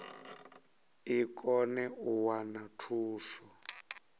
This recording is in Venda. i kone u wana thuso